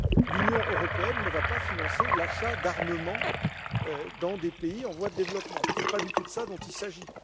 L'Union européenne ne va pas financer l'achat d'armements dans des pays en voie de développement, ce n'est pas du tout de cela dont il s'agit.